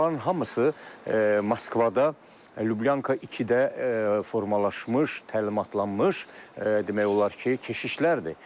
Bunların hamısı Moskvada Liublyanka 2-də formalaşmış, təlimatlanmış, demək olar ki, keşişlərdir.